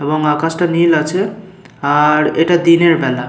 এবং আকাশটা নীল আছে আ-আর এটা দিনের বেলা।